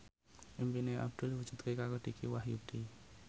impine Abdul diwujudke karo Dicky Wahyudi